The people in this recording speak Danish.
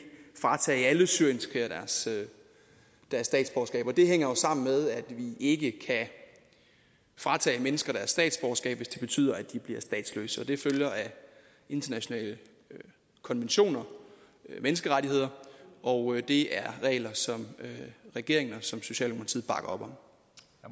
fratage alle syrienskrigere deres statsborgerskab hænger det jo sammen med at vi ikke kan fratage mennesker deres statsborgerskab hvis det betyder at de bliver statsløse og det følger af internationale konventioner menneskerettigheder og det er regler som regeringen og som socialdemokratiet bakker op om